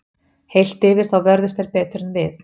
Heilt yfir þá vörðust þeir betur en við.